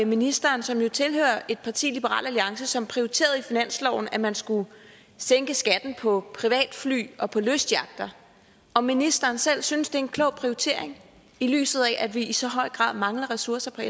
ministeren som jo tilhører et parti liberal alliance som prioriterede i finansloven at man skulle sænke skatten på privatfly og på lystyachter om ministeren selv synes det er en klog prioritering i lyset af at vi i så høj grad mangler ressourcer